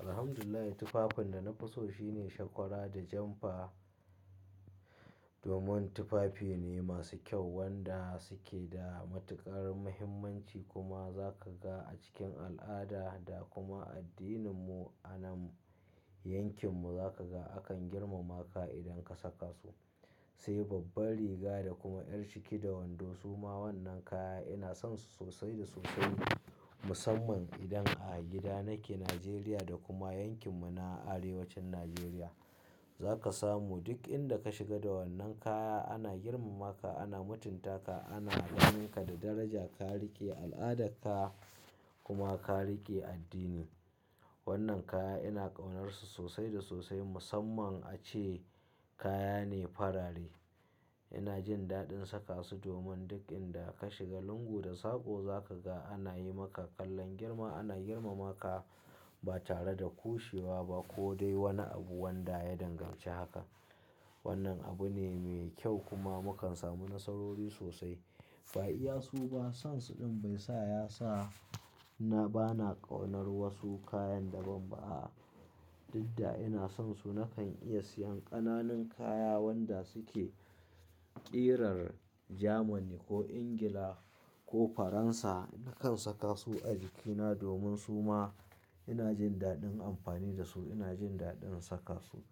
Alhamdulillah tufafin da na fi so shine shakwara da janfa. Domin tufafi ne masu kyau wanda suke da matuƙar muhimmanci kuma zaka ga a cikin al'ada da kuma addininmu anan yankinmu zaka ga akan girmama ka idan ka saka su. Sai babban riga da kuma ƴar ciki da wando su ma wannan kaya ina son su sosai da sosai musamman idan a gida nake Najeriya da kuma yankin mu na Arewacin Najeriya. Zaka samu duk inda ka shiga da wannan kaya ana girmama ka, ana mutunta ka, ana la'aninka da daraja, ka riƙe al'ada ka kuma ka riƙe addini. Wannan kaya ina ƙaunarsu sosai da sosai musamman ace kaya ne farare. Ina jin daɗin saka su domin duk inda ka shiga lungu da sako zaka ga ana yi maka kallon girma, ana girmama ka ba tare da kushewa ba ko dai wani abu wanda ya danganci hakan. Wannan abu ne mai kyau kuma mukan samu nasarori sosai. Ba iya su ba, son su ɗin bai sa ya sa na bana ƙaunar wasu kayan daban ba a. Didda ina son su nakan iya siyan ƙananun kaya wanda suke ƙirar Jamani ko Ingila ko Faransa. Nakan saka su a jikina domin su ma ina jin daɗin amfani da su, ina jin daɗin saka su.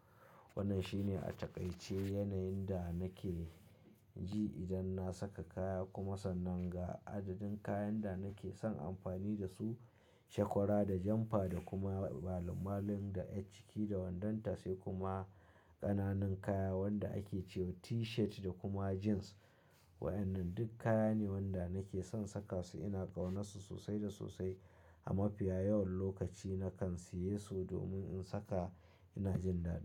Wannan shi ne a taƙaice yanayin da nake ji idan na saka kaya kuma sannan ga adadin kayan da nake son amfani da su shakwara da janfa da kuma malim-malim da ƴar ciki da wandonta sai kuma ƙananan kaya wanda ake cewa T-shirt da kuma jeans. Wa'annan duk kaya ne wanda nake son saka su ina ƙaunarsu sosai da sosai. A mafiya yawan lokaci nakan siye su domin in saka ina jin daɗi.